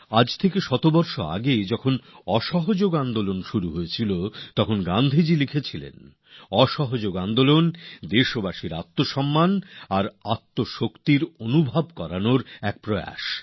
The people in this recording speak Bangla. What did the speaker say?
আজ থেকে একশো বছর আগে প্রথম অসহযোগ আন্দোলন যখন শুরু হয়েছিল তখন গান্ধীজি লিখেছিলেন অসহযোগ আন্দোলন হল দেশবাসীর আত্মসম্মান আর নিজের শক্তি অনুভব করানোর একটা প্রচেষ্টা